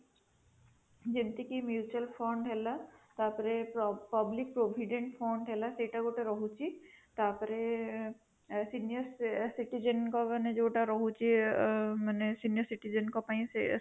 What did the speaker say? ଯେମିତିକ mutual fund ହେଲା, ତା ପରେ public provident fund ହେଲା, ସେଇଟା ଗୋଟେ ରହୁଛି, ତା ପରେ senior citizen ଙ୍କ ମାନେ ଯୋଉଟା ରହୁଛି ଆଁ ମାନେ senior citizen ଙ୍କ ପାଇଁ